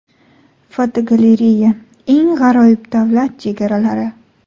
Fotogalereya: eng g‘aroyib davlat chegaralari.